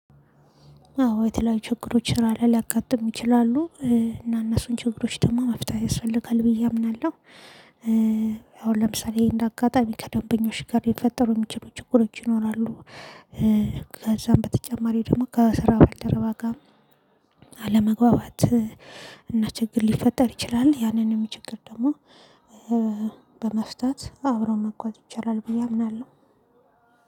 አዎ የተለያዩ ችግሮች ራለ ሊያጋጥም ይችላሉ እና እነሱን ችግሮች ደግሞ መፍታት ያስፈልጋል ብዬ አምናለሁ። አሁን ለምሳሌ እንደ አጋጣሚ ከደንበኞች ጋር ልፈጠሩ የሚችሉ ችግሮች ይኖራሉ ከዛም በተጨማሪ ደግሞ ከስራ ባልደረባጋም አለመግባባት እና ችግር ሊፈጠር ይችላል ያንንም ችግር ደግሞ በመፍታት አብረው መጓዝ ይቻላል ብዬ አምናለሁ።